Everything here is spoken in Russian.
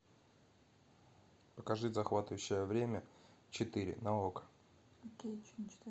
покажи захватывающее время четыре на окко